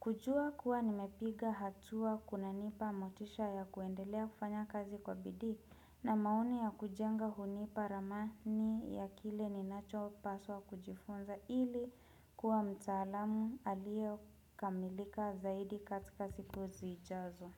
Kujua kuwa nimepiga hatua kunanipa motisha ya kuendelea kufanya kazi kwa bidii na maoni ya kujenga hunipa ramani ya kile ninacho paswa kujifunza ili kuwa mtaalamu aliyo kamilika zaidi katika siku zijazo.